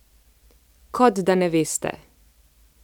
Kot da ne veste.